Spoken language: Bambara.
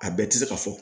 A bɛɛ tɛ se ka fɔ